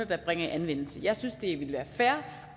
der bringer i anvendelse jeg synes det ville være fair